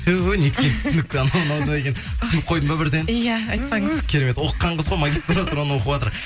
ту неткен түсінікті мынау деген түсініп қойдың ба бірден иә айтпаңыз керемет оқыған қыз ғой магистратураны оқыватыр